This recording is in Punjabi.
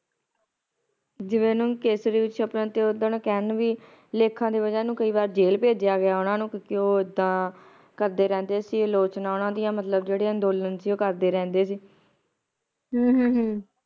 ਜਿਵੇ ਓਹਨਾ ਨੂੰ ਕੇਸਰੀ ਚ ਆਪਣਾ ਤੇ ਓਦਾਂ ਕਹਿਣ ਵੀ ਲੇਖਾਂ ਦੀ ਵਜਹ ਨੂੰ ਕਈ ਵਾਰ ਜੇਲ ਭੇਜਿਆ ਗਿਆ ਓਹਨਾ ਨੂੰ ਕਿਉਕਿ ਇੱਦਾਂ ਉਹ ਕਰਦੇ ਰਹਿੰਦੇ ਸੀ ਆਲੋਚਨਾ ਓਹਨਾ ਮਤਲਬ ਜਿਹੜੇ ਅੰਦੋਲਨ ਸੀ ਉਹ ਕਰਦੇ ਰਹਿੰਦੇ ਸੀ ਹਮ ਹਮ ਹਮ